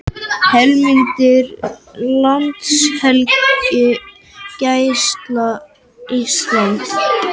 Heimildir Landhelgisgæsla Íslands